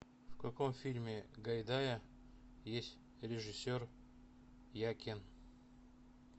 в каком фильме гайдая есть режиссер якин